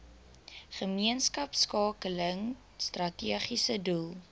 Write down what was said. gemeenskapskakeling strategiese doel